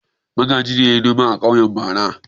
Magaji ne ya yi noma a ƙauye bara.